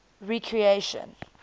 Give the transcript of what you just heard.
recreation